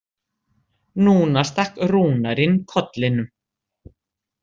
Núna stakk Rúnar inn kollinum.